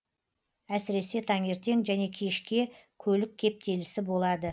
әсіресе таңертең және кешке көлік кептелісі болады